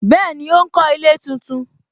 Bẹẹni, ó ń kọ ilé tuntun